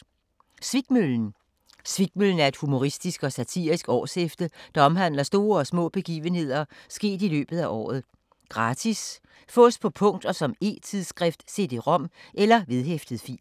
Svikmøllen Svikmøllen er et humoristisk og satirisk årshæfte, der omhandler store og små begivenheder sket i løbet af året. Gratis. Fås på punkt og som e-tidsskrift: cd-rom eller vedhæftet fil.